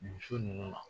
Muso ninnu na